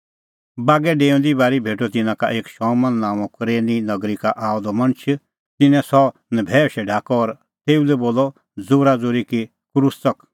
बागै डेऊंदी बारी भेटअ तिन्नां एक शमौन नांओं कुरेन नगरी का आअ द मणछ और तिन्नैं सह नभैऊशै ढाकअ और तेऊ लै बोलअ ज़ोराज़ोरी कि क्रूस च़क